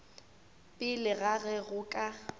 pele ga ge go ka